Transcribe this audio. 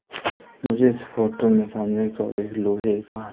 मुझे इस फोटो में सामने की ओर एक लोहे का--